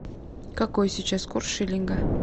какой сейчас курс шиллинга